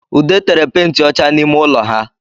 Ude tere penti ọcha n’ime ụlọ ha